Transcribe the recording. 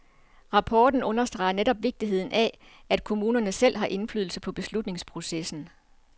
Rapporten understreger netop vigtigheden af, at kommunerne selv har indflydelse på beslutningsprocessen.